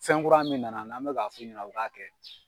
Fɛnkura min nana n'an bɛ k'a f'u ɲɛna u k'a kɛ.